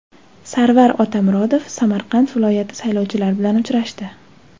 Sarvar Otamuratov Samarqand viloyati saylovchilari bilan uchrashdi.